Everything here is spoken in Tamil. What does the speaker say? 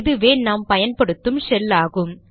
இதுவே நாம் பயன்படுத்தும் ஷெல் ஆகும்